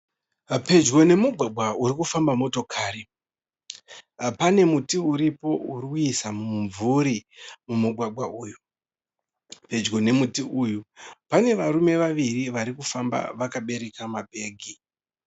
Pedyo nemugwagwa uri kufamba motokari, pane muti uripo urikuisa mumvuri mumugwagwa uyu. Pedyo nemuti uyu pane varume vaviri vari kufamba vakabereka mabhegi.